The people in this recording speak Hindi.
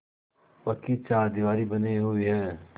पक्की चारदीवारी बनी हुई है